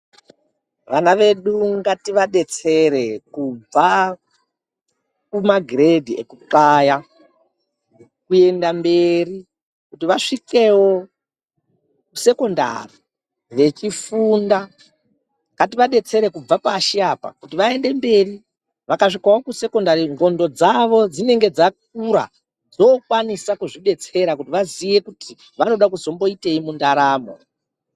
Vana vedu ngativadetsere, kubva kumagiredhi ekuthaya ,kuenda mberi kuti vasvikewo sekondari vachifunda, ngativadetsere kubva pashi apa kuti vaende mberi ,vakasvikawo kusekondari ndxondo dzavo dzinenge dzakura, dzokwanisa kuzvidetsera kuti vaziye kuti vanoda kuzomboiteyi mundaramo.